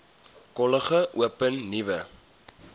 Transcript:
kollege open nuwe